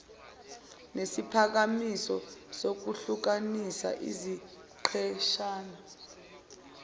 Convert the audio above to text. nesiphakamiso sokuhlukanisa iziqeshana